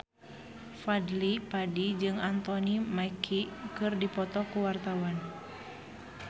Fadly Padi jeung Anthony Mackie keur dipoto ku wartawan